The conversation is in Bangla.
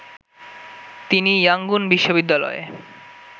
তিনি ইয়াংগুন বিশ্ববিদ্যালয়